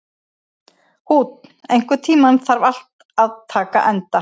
Húnn, einhvern tímann þarf allt að taka enda.